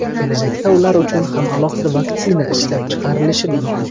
Kelajakda ular uchun ham alohida vaksina ishlab chiqilishi mumkin.